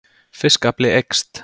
Fiskafli eykst